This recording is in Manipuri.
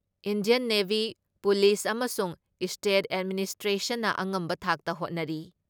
ꯏꯟꯙꯤꯌꯥꯟ ꯅꯦꯚꯤ, ꯄꯨꯂꯤꯁ ꯑꯃꯁꯨꯡ ꯏꯁꯇꯦꯠ ꯑꯦꯗꯃꯤꯅꯤꯁꯇ꯭ꯔꯦꯁꯟꯅ ꯑꯉꯝꯕ ꯊꯥꯛꯇ ꯍꯣꯠꯅꯔꯤ ꯫